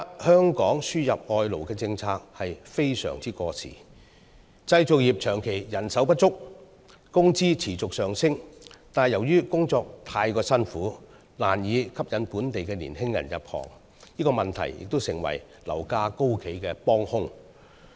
香港現時輸入外勞的政策相當過時，建造業長期人手不足，工資持續上升，但由於工作太辛苦，難以吸引本地年青人入行，這問題亦成為樓價高企的幫兇。